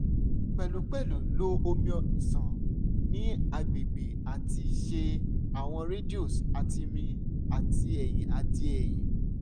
pẹlupẹlu lo omi ṣan ni agbegbe ati ṣe awọn radios ati mri ti ẹhin ati ẹhin